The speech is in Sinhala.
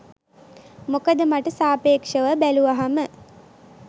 මොකද මට සාපේක්‍ෂව බැලුවහම